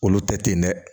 Olu tɛ ten dɛ